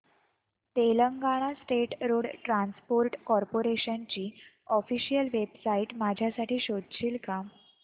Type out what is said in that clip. Telangana state road transport corporation ची official website माझ्यासाठी शोधशील का